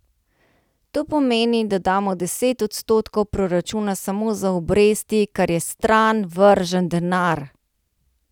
To pomeni, da damo deset odstotkov proračuna samo za obresti, kar je stran vržen denar.